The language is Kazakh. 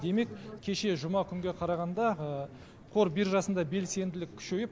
демек кеше жұма күнге қарағанда қор биржасында белсенділік күшейіп